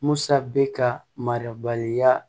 Musa bɛ ka mara baliya